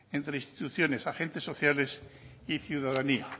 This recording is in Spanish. entre instituciones agentes sociales y ciudadanía